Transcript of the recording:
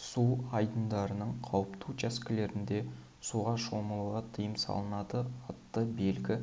су айдындарының қауіпті учаскелерінде суға шомылуға тыйым салынады атты белгі